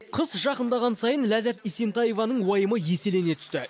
қыс жақындаған сайын ләззат есентаеваның уайымы еселене түсті